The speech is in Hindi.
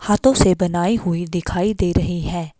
हाथों से बनाई हुई दिखाई दे रही हैं।